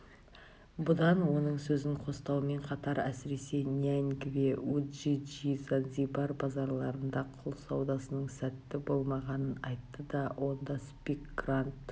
бұдан оның сөзін қостаумен қатар әсіресе няньгве уджиджи занзибар базарларында құл саудасының сәтті болмағанын айтты онда спик грант